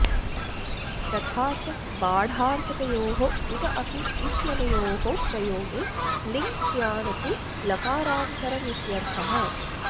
तथा च बाढार्थकयोः उत अपि इत्यनयोः प्रयोगे लिङ् स्यान्न तु लकारान्तरमित्यर्थः